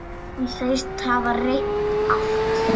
Hann segist hafa reynt allt.